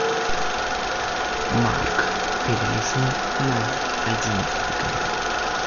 марк перелистни на одиннадцатый канал